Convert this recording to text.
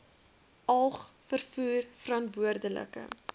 alg vervoer veranderlike